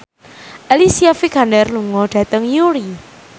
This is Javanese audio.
Alicia Vikander lunga dhateng Newry